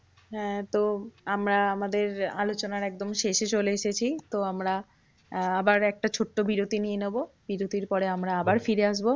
হ্যাঁ তো আমরা আমাদের আলোচনার একদম শেষে চলে এসেছি। তো আমরা আবার একটা ছোট্ট বিরতি নিয়ে নেবো। বিরতির পরে আমরা আবার ফিরে আসবো,